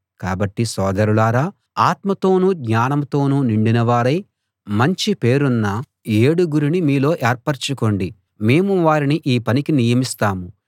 కాబట్టి సోదరులారా ఆత్మతోనూ జ్ఞానంతోనూ నిండిన వారై మంచి పేరున్న ఏడుగురిని మీలో ఏర్పరచుకోండి మేము వారిని ఈ పనికి నియమిస్తాం